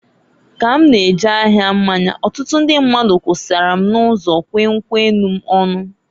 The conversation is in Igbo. Ka m na-eje ahia mmanya, ọtụtụ ndị mmadụ kwusara m n'ụzọ kwee nkwu enu m ọnụ.